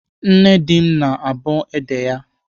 Nne di m na-abọ ede ya.